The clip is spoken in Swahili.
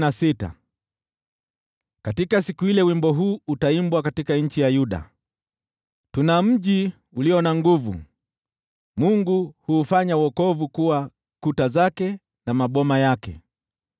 Katika siku ile, wimbo huu utaimbwa katika nchi ya Yuda: Tuna mji ulio na nguvu, Mungu huufanya wokovu kuwa kuta zake na maboma yake.